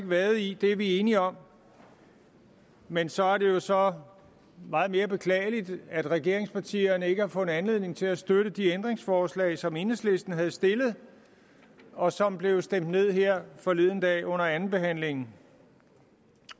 vade i det er vi enige om men så er det jo så meget mere beklageligt at regeringspartierne ikke har fundet anledning til at støtte de ændringsforslag som enhedslisten havde stillet og som blev stemt ned her forleden dag under andenbehandlingen